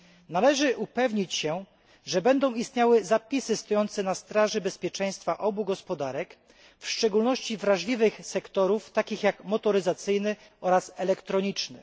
Należy upewnić się, że będą istniały zapisy stojące na straży bezpieczeństwa obu gospodarek, w szczególności wrażliwych sektorów, takich jak motoryzacyjny i elektroniczny.